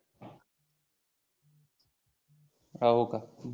हो का